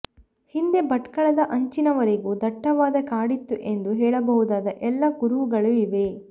ಹಿಂದೆ ಭಟ್ಕಳದ ಅಂಚಿನವರೆಗೂ ದಟ್ಟವಾದ ಕಾಡಿತ್ತು ಎಂದು ಹೇಳಬಹುದಾದ ಎಲ್ಲ ಕುರುಹುಗಳೂ ಇವೆ